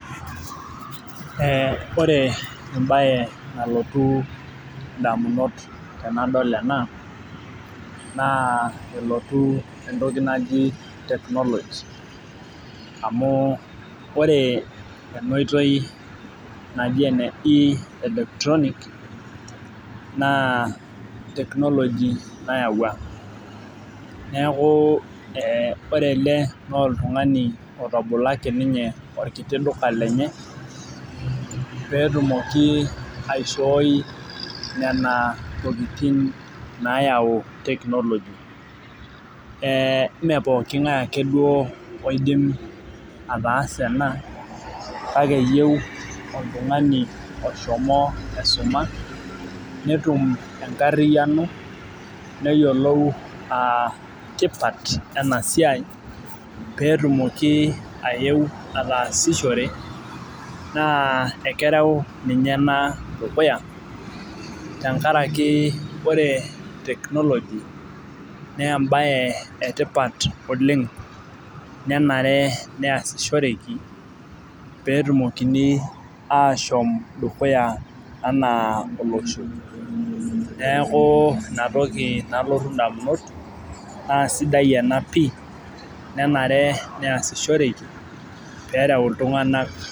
Ee ore ebae nalotu damunot tenadol ena naa nelotu entoki naji technology amu ore ena oitoii naji ene electronic naa technology nayawua. neeku ore ele naa oltungani otabolo ake ninye olkiti duka lenye. pee etumoki aishoi Nena tokitin naayau technology ime pooki ng'ae ake duoo oidim ataasa ena kake eyieu oltungani oshomo aisuma netum enkariyiano neyiolou aa tipat ena siai pee etumoki ayeu ataasishore naa ekeretu ninye ena dukuya. tenkaraki ore technology naa ebae etipat oleng menare neesishoreki, pee etumokini aashom dukuya anaa olosho. neeku Ina toki nalotu damunot naa sidai ena pii. nenare neesishoreki pee eret iltunganak.